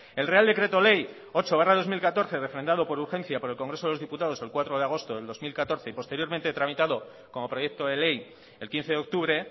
el real decreto ley ocho barra dos mil catorce refrendado por urgencia por el congreso de los diputados el cuatro de agosto del dos mil catorce y posteriormente tramitado como proyecto de ley el quince de octubre